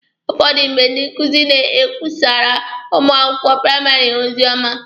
Ụfọdụ mgbe, ndị nkuzi na-ekwusara ụmụ akwụkwọ praịmarị ha ozioma.